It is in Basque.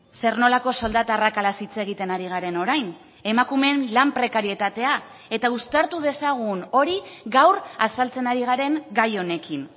zer nolako soldata arrakalaz hitz egiten ari garen orain emakumeen lan prekarietatea eta uztartu dezagun hori gaur azaltzen ari garen gai honekin